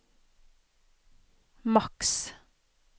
maks